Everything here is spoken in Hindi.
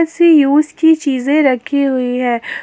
कुछ यूज की चीजे रखी हुई है।